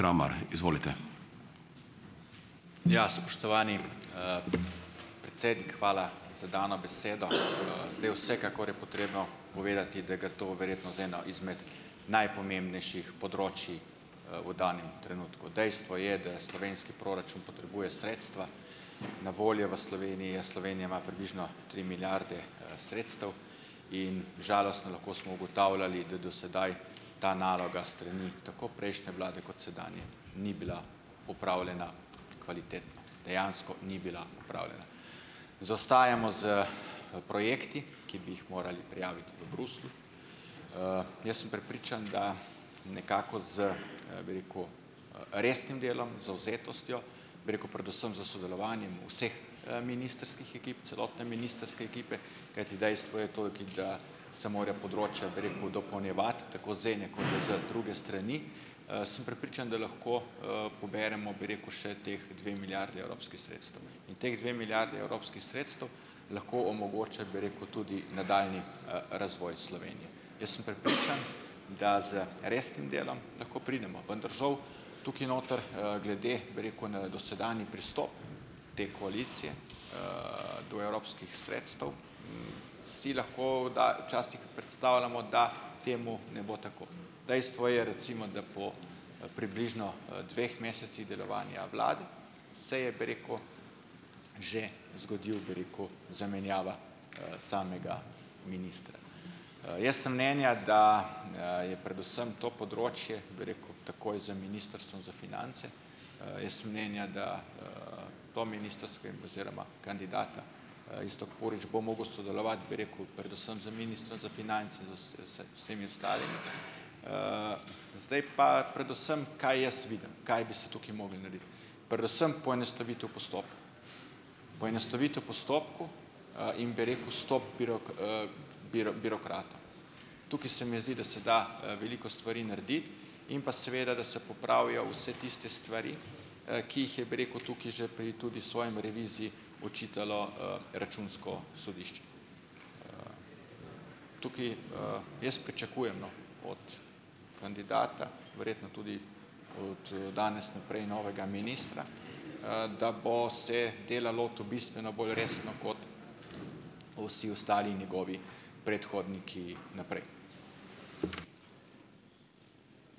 Ja. Spoštovani, predsednik, hvala za dano besedo. Zdaj, vsekakor je potrebno povedati, da gre to verjetno za eno izmed najpomembnejših področij, v danem trenutku. Dejstvo je, da slovenski proračun potrebuje sredstva, na voljo v Sloveniji je, Slovenija ima približno tri milijarde, sredstev in žalostno, lahko smo ugotavljali, da do sedaj ta naloga s strani tako prejšnje vlade kot sedanje ni bila opravljena kvalitetno. Dejansko ni bila opravljena. Zaostajamo s, projekti, ki bi jih morali prijaviti v Bruslju. Jaz sem prepričan, da nekako z, bi rekel, resnim delom, zavzetostjo, bi rekel, predvsem s sodelovanjem vseh, ministrskih ekip, celotne ministrske ekipe, kajti dejstvo je tolki, da se morajo področja, bi rekel, dopolnjevati, tako z ene kot z druge strani, sem prepričan, da lahko, poberemo, bi rekel, še ti dve milijardi evropskih sredstev, in ti dve milijardi evropskih sredstev lahko omogočata, bi rekel, tudi nadaljnji razvoj Slovenije. Jaz sem prepričan, da z resnim delom lahko pridemo, vendar žal tukaj noter, glede, bi rekel, na dosedanji pristop te koalicije, do evropskih sredstev, si lahko kdaj, včasih predstavljamo, da temu ne bo tako. Dejstvo je, recimo, da po, približno, dveh mesecih delovanja vlade se je, bi rekel, že zgodilo, bi rekel, zamenjava, samega ministra. Jaz sem mnenja, da, je predvsem to področje, bi rekel, takoj za Ministrstvom za finance, jaz sem mnenja, da, to ministrsko in oziroma kandidata, Iztok Purič bo mogel sodelovati, bi rekel, predvsem z ministrom za finance z s vse, vsemi ostalimi. Zdaj pa predvsem, kaj jaz vidim, kaj bi se tukaj moglo narediti. Predvsem poenostavitev postopkov, poenostavitev postopkov, in bi rekel, stop birokratom. Tukaj se mi zdi, da se da, veliko stvari narediti in pa seveda, da se popravijo vse tiste stvari, ki jih je, bi rekel, tukaj že pri tudi svoji reviziji očitalo, Računsko sodišče. Tukaj, jaz pričakujem, no, od kandidata, verjetno tudi od, danes naprej novega ministra, da bo se dela lotil bistveno bolj resno kot vsi ostali njegovi predhodniki naprej.